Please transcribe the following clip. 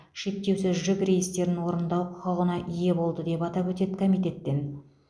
шектеусіз жүк рейстерін орындау құқығына ие болды деп атап өтеді комитеттен